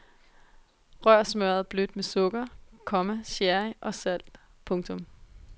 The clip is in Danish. Rør smørret blødt med sukker, komma sherry og salt. punktum